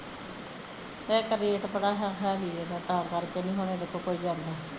ਇੱਕ ਰੇਟ ਬੜਾ high ਹੈ ਤਾਂ ਕਰ ਕੇ ਕੋਈ ਇਹਦੇ ਕੋਲ ਨਹੀਂ ਜਾਂਦਾ